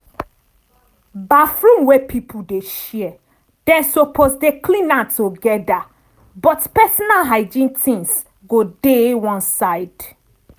baffroom wey pipul dey share dem suppose dey clean am togeda but pesinal hygiene tings go dey one side.